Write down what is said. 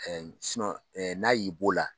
n'a y'i b'o la.